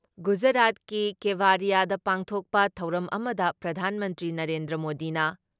ꯒꯨꯖꯔꯥꯠꯀꯤ ꯀꯦꯚꯥꯔꯤꯌꯥꯗ ꯄꯥꯡꯊꯣꯛꯄ ꯊꯧꯔꯝ ꯑꯃꯗ ꯄ꯭ꯔꯙꯥꯟ ꯃꯟꯇ꯭ꯔꯤ ꯅꯔꯦꯟꯗ꯭ꯔ ꯃꯣꯗꯤꯅ